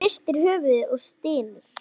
Hann hristir höfuðið og stynur.